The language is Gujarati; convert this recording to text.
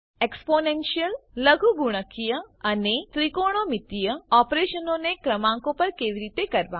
એક્સ્પોનેન્શીયલ લઘુગુણકીય અને ત્રીકોણોમિતીય ઓપરેશનોને ક્રમાંકો પર કેવી રીતે કરવા